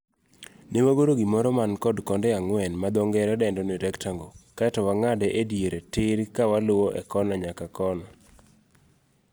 Ne wagoro gimoro man kod konde ang'wen madho ngere dendo ni rectangle kaeto wang'ade ediere tir kawaluwo e kona nyaka kona.